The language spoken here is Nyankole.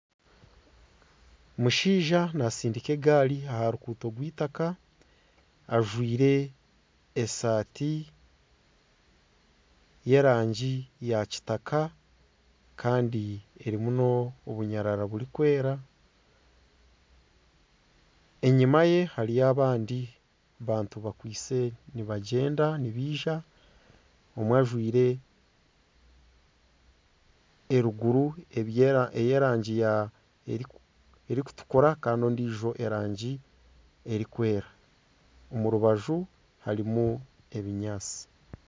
Omushaija natsindika egaari aha ruguuto rw'eitaka ajwire esaati y'erangi ya kitaka kandi erimu n'obunyarara burikwera. Enyima ye hariyo abandi bantu bakwise nibagyenda, nibaija, omwe ajwire eruguru ey'erangi erikutukura kandi ondiijo erangi erikwera. Omu rubaju harimu ebinyaatsi.